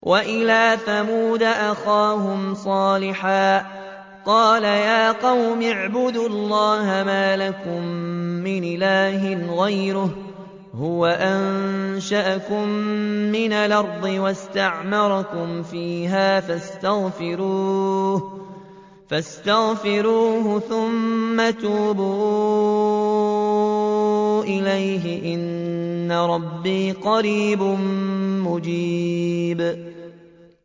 ۞ وَإِلَىٰ ثَمُودَ أَخَاهُمْ صَالِحًا ۚ قَالَ يَا قَوْمِ اعْبُدُوا اللَّهَ مَا لَكُم مِّنْ إِلَٰهٍ غَيْرُهُ ۖ هُوَ أَنشَأَكُم مِّنَ الْأَرْضِ وَاسْتَعْمَرَكُمْ فِيهَا فَاسْتَغْفِرُوهُ ثُمَّ تُوبُوا إِلَيْهِ ۚ إِنَّ رَبِّي قَرِيبٌ مُّجِيبٌ